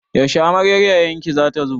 Yaushe amaryar yayan ki za ta zo?